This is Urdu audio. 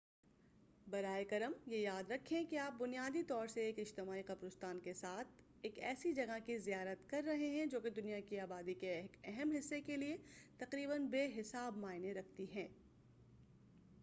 براہ کرم یہ یاد رکھیں کہ آپ بنیادی طور سے ایک اجتماعی قبرستان کے ساتھ ہی ایسی جگہ کی زیارت کر رہے ہیں جو کی دنیا کی آبادی کے ایک اہم حصے کے لئے تقریباً بے حساب معنی رکھتی ہے